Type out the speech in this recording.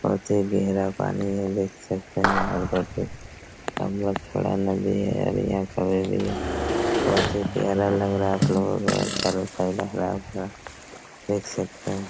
बहोत ही गहरा पानी है देख सकते है आगे बढ़ के बहोत ही प्यारा लग रहा देख सकते है।